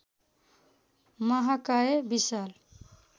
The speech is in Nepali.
महाकाय विशाल